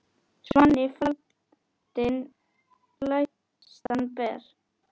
Svanni faldinn glæstan ber.